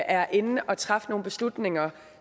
er inde og træffe nogle beslutninger